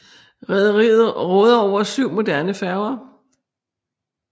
Rederiet råder over syv moderne færger